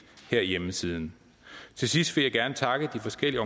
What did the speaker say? herhjemme siden til sidst vil jeg gerne takke de forskellige